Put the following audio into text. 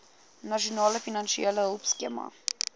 nasionale finansiële hulpskema